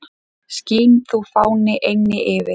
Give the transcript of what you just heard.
Skín þú, fáni, eynni yfir